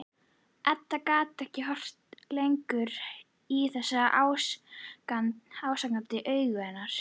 Edda gat ekki horft lengur í þessi ásakandi augu hennar.